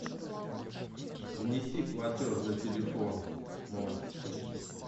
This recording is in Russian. внеси платеж за телефон мой